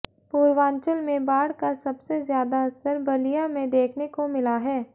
पूर्वांचल में बाढ़ का सबसे ज्यादा असर बलिया में देखने को मिला हैं